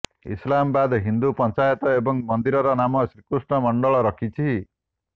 ଇସଲାମାବାଦ ହିନ୍ଦୁ ପଞ୍ଚାୟତ ଏହି ମନ୍ଦିରର ନାମ ଶ୍ରୀକୃଷ୍ଣ ମଣ୍ଡଳ ରଖିଛି